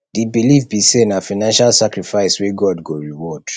di believe be say na financial sacrifice wey god go reward